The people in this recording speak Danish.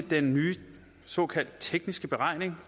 den nye såkaldte tekniske beregning